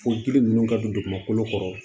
Fo dili ninnu ka don dugumakolo kɔrɔ